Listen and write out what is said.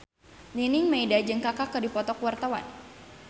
Nining Meida jeung Kaka keur dipoto ku wartawan